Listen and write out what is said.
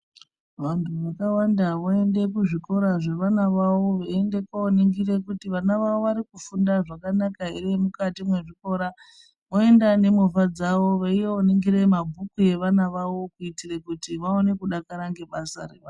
Vantu vakawanda voende kuzvikora zvevana vavo veiende koningire kuti vana vavo varikufunda zvakanaka ere mukati mwezvikora. Voenda nemovha dzavo veioningire mabhuku evana vavo kuitire kuti vaone kudakara ngebasa reva.